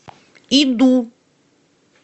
иду